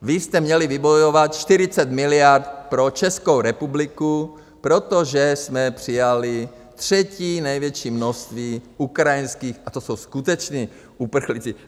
Vy jste měli vybojovat 40 miliard pro Českou republiku, protože jsme přijali třetí největší množství ukrajinských - a to jsou skuteční uprchlíci.